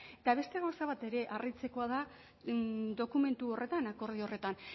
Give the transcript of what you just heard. eta beste gauza bat ere harritzekoa da dokumentu horretan akordio horretan